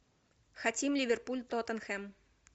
хотим ливерпуль тоттенхэм